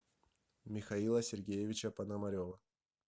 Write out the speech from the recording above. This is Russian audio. михаила сергеевича пономарева